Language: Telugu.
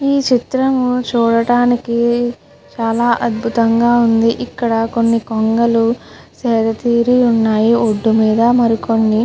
ఈ చిత్రము చూడడానికి చాలా అద్భుతంగా ఉంది. ఇక్కడ కొన్ని కొంగలు సేదతీరి ఉన్నాయి ఒట్టు మీద మరి కొన్ని.